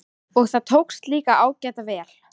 Og það tókst líka ágæta vel.